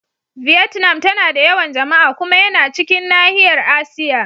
Vietnam tana da yawan jama'a. Kuma yana cikin nahiyar Asiya.